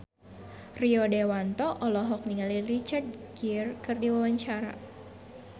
Rio Dewanto olohok ningali Richard Gere keur diwawancara